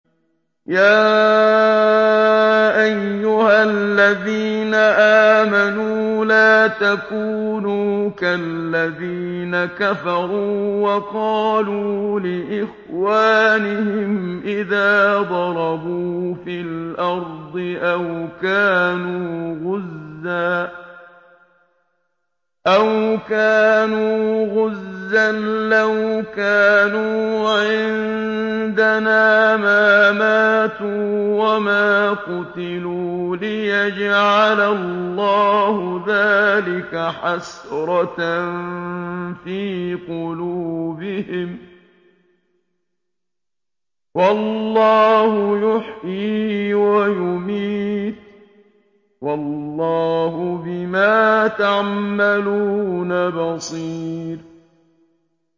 يَا أَيُّهَا الَّذِينَ آمَنُوا لَا تَكُونُوا كَالَّذِينَ كَفَرُوا وَقَالُوا لِإِخْوَانِهِمْ إِذَا ضَرَبُوا فِي الْأَرْضِ أَوْ كَانُوا غُزًّى لَّوْ كَانُوا عِندَنَا مَا مَاتُوا وَمَا قُتِلُوا لِيَجْعَلَ اللَّهُ ذَٰلِكَ حَسْرَةً فِي قُلُوبِهِمْ ۗ وَاللَّهُ يُحْيِي وَيُمِيتُ ۗ وَاللَّهُ بِمَا تَعْمَلُونَ بَصِيرٌ